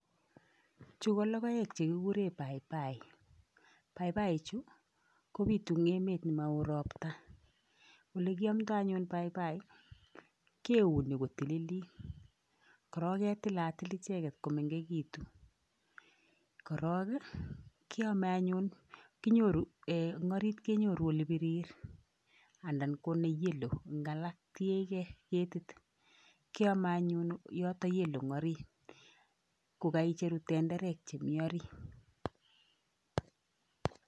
Chu ko logoek che kiguren paipai. Paipai chu kopitu eng emet ne mao ropta. Olekiamndo anyun paipai keuni kotilit. Korog ketilatil icheget ko mengegitu. Korog ii keameanyun, kinyoru ee eng orit kenyoru olepirir anda ko ne yellow eng alak, tiegei ketit. Kiame anyun yoto yellow eng orit kogaicheru tenderek chemi orit.